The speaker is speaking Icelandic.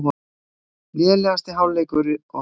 Lélegasti hálfleikur okkar